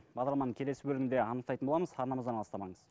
бағдарламаның келесі бөлімінде анықтайтын боламыз арнамыздан алыстамаңыз